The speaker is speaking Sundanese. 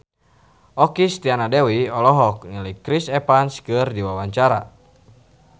Okky Setiana Dewi olohok ningali Chris Evans keur diwawancara